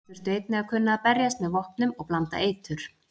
Þær þurftu einnig að kunna berjast með vopnum og blanda eitur.